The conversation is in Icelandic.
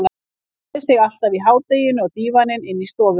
Hann lagði sig alltaf í hádeginu á dívaninn inni í stofu.